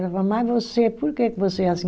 Ela falava, mas você, por que que você é assim?